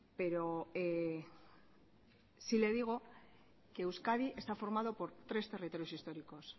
pero sí le digo que euskadi está formado por tres territorios históricos